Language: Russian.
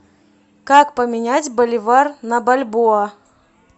как поменять боливар на бальбоа